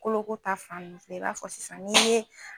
Koloko ta fan nun fɛ i b'a fɔ sisan n'i ye